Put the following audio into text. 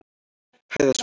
Hæðasmára